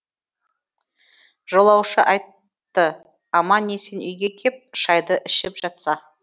жолаушы айтты аман есен үйге кеп шайды ішіп жатса